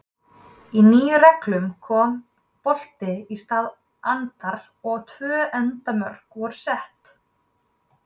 Í nýju reglunum kom bolti í stað andar og tvö endamörk voru sett.